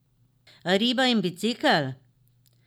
Riba in bicikel?